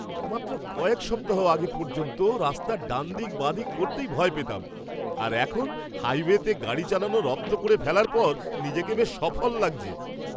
মাত্র কয়েক সপ্তাহ আগে পর্যন্ত রাস্তার ডানদিক বাঁদিক করতেই ভয় পেতাম আর এখন হাইওয়েতে গাড়ি চালানো রপ্ত করে ফেলার পর নিজেকে বেশ সফল লাগছে।